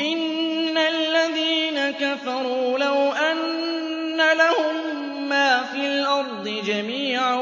إِنَّ الَّذِينَ كَفَرُوا لَوْ أَنَّ لَهُم مَّا فِي الْأَرْضِ جَمِيعًا